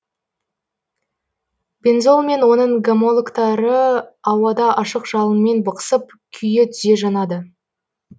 бензол мен оның гомологтары ауада ашық жалынмен бықсып күйе түзе жанады